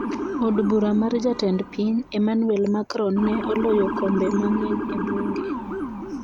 Od bura mar Jatend piny, Emmanuel Macron, ne oloyo kombe mang'eny e bunge.